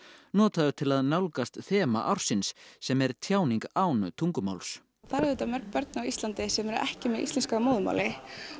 notaður til að nálgast þema ársins sem er tjáning án tungumáls það eru auðvitað mörg börn á Íslandi sem eru ekki með íslensku að móðurmáli